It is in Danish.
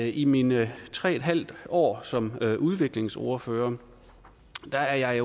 i mine tre en halv år som udviklingsordfører er jeg